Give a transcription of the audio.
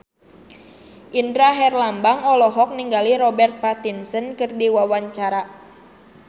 Indra Herlambang olohok ningali Robert Pattinson keur diwawancara